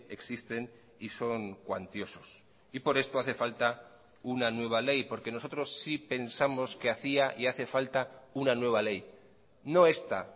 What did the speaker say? existen y son cuantiosos y por esto hace falta una nueva ley porque nosotros sí pensamos que hacía y hace falta una nueva ley no esta